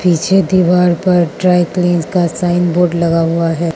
पीछे दीवार पर ड्राई क्लीन का साइन बोर्ड लगा हुआ है।